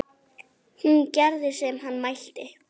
Hún gerði sem hann mælti.